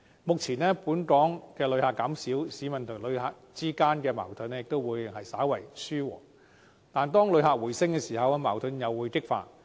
目前，本港旅客減少，市民與旅客之間的矛盾稍為紓緩，但一旦旅客人數回升，矛盾又會激化。